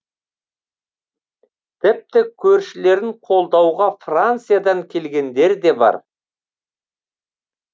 тіпті көршілерін қолдауға франциядан келгендер де бар